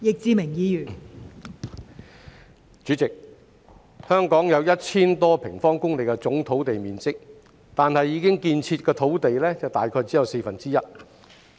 代理主席，香港有 1,000 多平方公里的總土地面積，但已建設的土地只佔約四分之一。